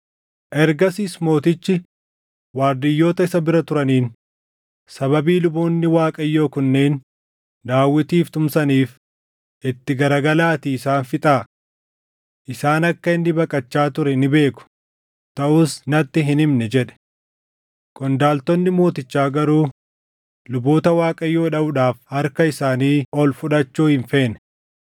Ergasiis mootichi waardiyyoota isa bira turaniin, “Sababii luboonni Waaqayyoo kunneen Daawitiif tumsaniif, itti garagalaatii isaan fixaa. Isaan akka inni baqachaa ture ni beeku; taʼus natti hin himne” jedhe. Qondaaltonni mootichaa garuu luboota Waaqayyoo dhaʼuudhaaf harka isaanii ol fudhachuu hin feene.